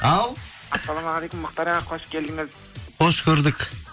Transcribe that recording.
ал ассаламағалейкум мұхтар аға қош келдіңіз қош көрдік